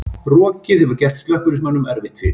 Rokið hefur gert slökkviliðsmönnum erfitt fyrir